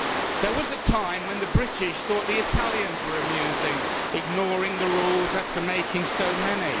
There was a time when the British thought the Italians were amusing ignoring the rules after making so many.